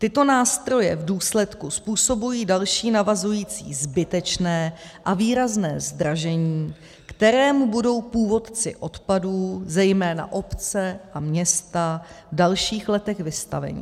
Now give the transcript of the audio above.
Tyto nástroje v důsledku způsobují další navazující zbytečné a výrazné zdražení, kterému budou původci odpadů, zejména obce a města, v dalších letech vystaveni.